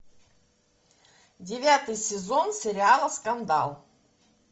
девятый сезон сериала скандал